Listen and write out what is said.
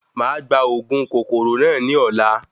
Máà gba òògùn kòkòrò náà ní ọ̀la